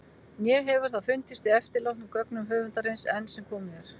Né hefur það fundist í eftirlátnum gögnum höfundarins- enn sem komið er.